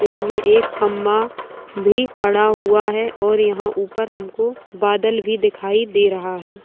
पेड़ मे एक खंभा भी खड़ा हुआ है और यहाँ ऊपर हमको बादल भी दिखाई दे रहा है।